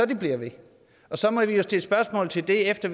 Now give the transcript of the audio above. det bliver ved og så må vi jo stille spørgsmål til det efter